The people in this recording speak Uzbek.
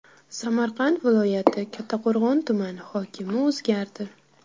Samarqand viloyati Kattaqo‘rg‘on tumani hokimi o‘zgardi.